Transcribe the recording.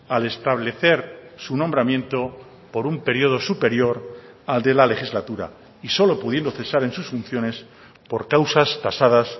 al establecer su nombramiento por un periodo superior al de la legislatura y solo pudiendo cesar en sus funciones por causas tasadas